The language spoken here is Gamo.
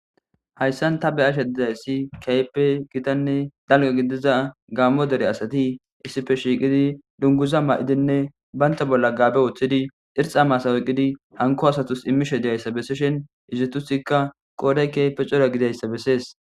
Hayssan ta be ashe didayssi kaype gitanne dalga gidiza gaammo dere asati issife shiiqidi dunguza ma'idinne baynta bolla gaabe wuoththidi irxa masaweqidi hanko asatus immishe diyayssa besseshin izetusikka qooday keype cora gidayssa bessees.